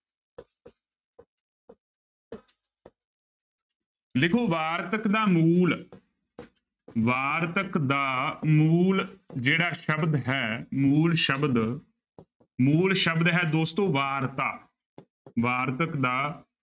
ਲਿਖੋ ਵਾਰਤਕ ਦਾ ਮੂਲ ਵਾਰਤਕ ਦਾ ਮੂਲ ਜਿਹੜਾ ਸ਼ਬਦ ਹੈ ਮੂਲ ਸ਼ਬਦ ਮੂਲ ਸ਼ਬਦ ਹੈ ਦੋਸਤੋ ਵਾਰਤਾ ਵਾਰਤਕ ਦਾ